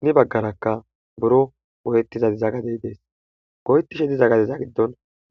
guye baggarakka buro goyettishe diza gadey dees goyettishe diza gadiza giddon